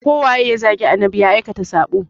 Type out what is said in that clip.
Ko waye ya zagi annabi ya aikata sabo.